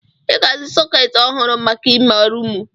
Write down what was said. I ga-azu sọketi ọhụrụ maka ime rumụ.